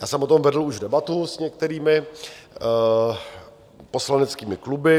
Já jsem o tom vedl už debatu s některými poslaneckými kluby.